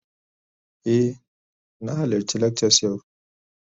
Eh, na halarci lakcas yau